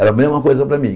Era a mesma coisa para mim.